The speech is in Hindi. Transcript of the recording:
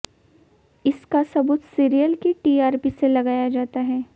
इसका सबूत सीरियल की टीआरपी से लगाया जाता है